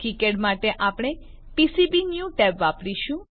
KiCad માટે આપણે PCB new tab વાપરીશું